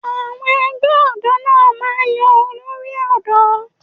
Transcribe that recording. Àwọn ẹgbẹ́ ọ̀dọ́ náà máa ń yan olórí ọ̀dọ́